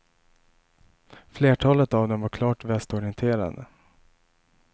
Flertalet av dem var klart västorienterade.